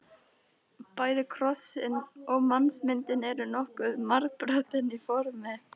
Bæði krossinn og mannsmyndin eru nokkuð margbrotin í formi.